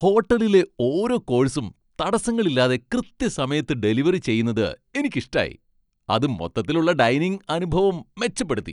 ഹോട്ടലിലെ ഓരോ കോഴ്സും തടസ്സങ്ങളില്ലാതെ കൃത്യസമയത്ത് ഡെലിവറി ചെയ്യുന്നത് എനിക്കിഷ്ടായി, അത് മൊത്തത്തിലുള്ള ഡൈനിംഗ് അനുഭവം മെച്ചപ്പെടുത്തി.